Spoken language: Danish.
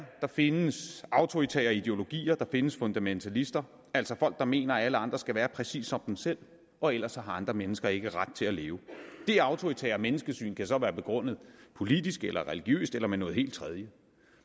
der findes autoritære ideologier og der findes fundamentalister altså folk der mener at alle andre skal være præcis som dem selv og ellers har andre mennesker ikke ret til at leve det autoritære menneskesyn kan så være begrundet politisk eller religiøst eller med noget helt tredje